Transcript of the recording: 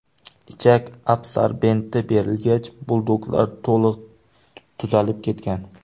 Ichak absorbenti berilgach, buldoglar to‘liq tuzalib ketgan.